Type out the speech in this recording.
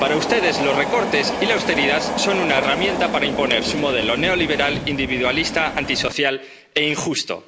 Para ustedes, los recortes y la austeridad son una herramienta para imponer su modelo neoliberal, individualista, antisocial e injusto.